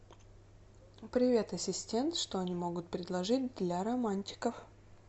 привет ассистент что они могут предложить для романтиков